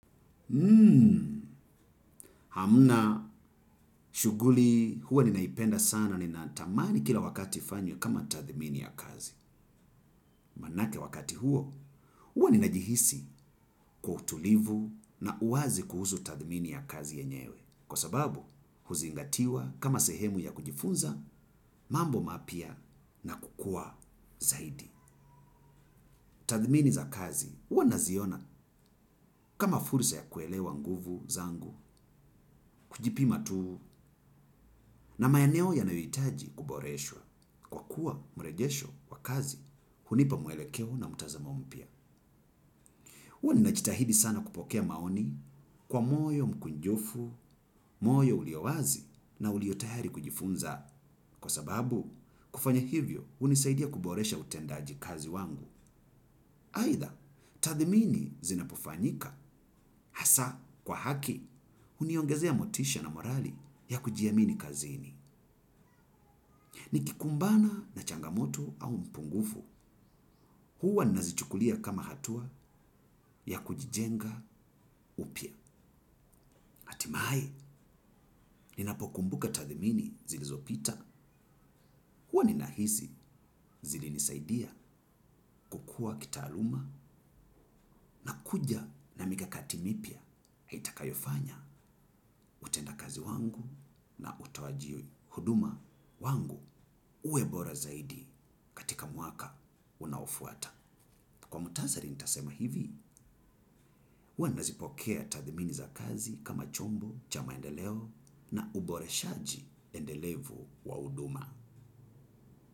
Hmm, hamna shughuli huwa ninaipenda sana ninatamani kila wakati ifanywe kama tathimini ya kazi. Maanake wakati huo huwa ninajihisi kwa utulivu na uwazi kuhusu tathimini ya kazi yenyewe. Kwa sababu huzingatiwa kama sehemu ya kujifunza mambo mapya na kukua zaidi. Tathmini za kazi huwa naziona kama fursa ya kuelewa nguvu zangu kujipima tu na maeneo yanayohitaji kuboreshwa kwa kuwa mrejesho wa kazi hunipa mwelekeo na mtazamo mpya huwa ninajitahidi sana kupokea maoni kwa moyo mkunjufu, moyo ulio wazi na uliyotayari kujifunza kwa sababu kufanya hivyo hunisaidia kuboresha utendaji kazi wangu. Aidha, tathmini zinapofanyika, hasa kwa haki, huniongezea motisha na morali ya kujiamini kazini, nikikumbana na changamoto au mpungufu, huwa nazichukulia kama hatua ya kujijenga upya. Mahai, ninapokumbuka tathimini zilizopita, huwa ninahisi zilinisaidia kukua kitaaluma kuja na mikakati mipya, itakayofanya, utendakazi wangu na utoaji huduma wangu, uwe bora zaidi, katika mwaka unaofuata. Kwa muhtasari nitasema hivi, huwa nazipokea tathmini za kazi kama chombo, cha maendeleo na uboreshaji endelevu wa huduma.